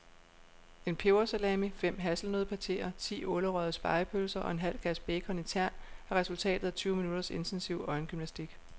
En pebersalami, fem hasselnøddepateer, ti ålerøgede spegepølser og en halv kasse bacon i tern er resultatet af tyve minutters intensiv øjengymnastik.